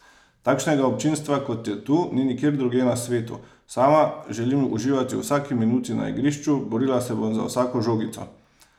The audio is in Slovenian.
Takšnega občinstva, kot je tu, ni nikjer drugje na svetu, sama želim uživati v vsaki minuti na igrišču, borila se bom za vsako žogico!